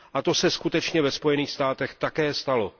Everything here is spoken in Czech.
A to se skutečně ve Spojených státech také stalo.